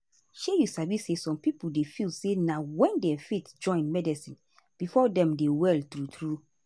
shey you sabi say some pipo dey feel say na wen dem faith join medicine before dem dey well true true.